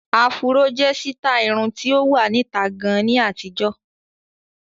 Áfúró jẹ́ sítáì irun tí ó wà níta gan ní àtijọ́.